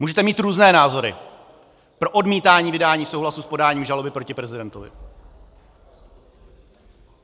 Můžete mít různé názory pro odmítání vydání souhlasu s podáním žaloby proti prezidentovi.